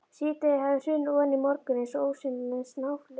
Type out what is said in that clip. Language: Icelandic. Síðdegið hafði hrunið ofan í morguninn eins og ósýnilegt snjóflóð.